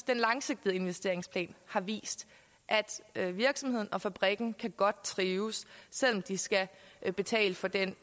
den langsigtede investeringsplan har vist at virksomheden og fabrikken godt kan trives selv om de skal betale for den